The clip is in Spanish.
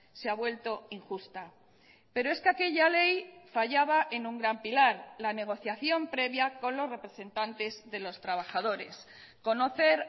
se ha vuelto injusta pero es que aquella ley fallaba en un gran pilar la negociación previa con los representantes de los trabajadores conocer